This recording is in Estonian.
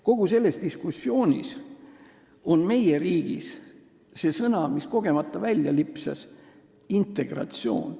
Kogu selles diskussioonis on meie riigis see sõna, mis kogemata välja lipsas, "integratsioon".